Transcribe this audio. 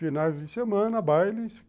Finais de semana, bailes.